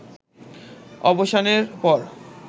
অবসানের পর